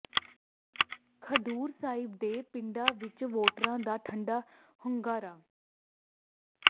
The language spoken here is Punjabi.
ਖਡੂਰ ਸਾਹਿਬ ਦੇ ਪਿੰਡਾਂ ਵਿੱਚ ਵੋਟਰਾਂ ਦਾ ਠੰਢਾ ਹੁੰਗਾਰਾ